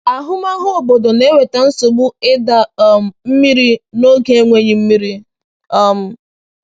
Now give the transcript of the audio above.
Ahụmahụ obodo na-eweta nsogbu ịda um mmiri n’oge enweghị mmiri.” um